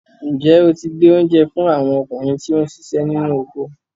Ǹjẹ́ o ti gbé oúnjẹ fún àwọn ọkùnrin tí ó ń siṣẹ́ nínú oko?